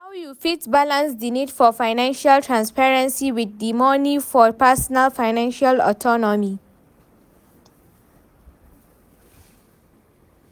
How you fit balance di need for financial transparency with di need for personal financial autonomy?